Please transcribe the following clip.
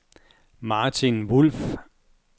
Martin Wulff